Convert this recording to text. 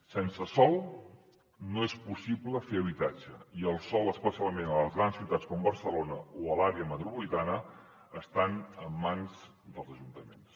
sense sòl no és possible fer habitatge i el sòl especialment a les grans ciutats com barcelona o a l’àrea metropolitana està en mans dels ajuntaments